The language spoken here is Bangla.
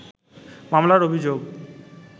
মামলার অভিযোগ